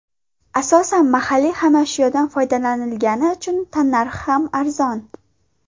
Asosan, mahalliy xomashyodan foydalanilgani uchun tannarxi ham arzon.